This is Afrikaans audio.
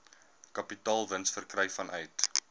kapitaalwins verkry vanuit